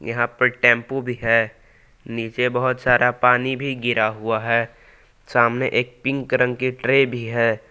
यहां पे टेंपू भी है। नीचे बहुत सारा पानी भी गिरा हुआ है। सामने एक पिंक रंग की ट्रे भी है।